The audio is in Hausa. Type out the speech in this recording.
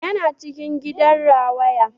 Yana cikin gidan rawaya